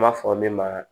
N b'a fɔ min ma